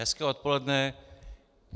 Hezké odpoledne.